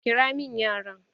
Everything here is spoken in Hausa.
Ƙira min yaran!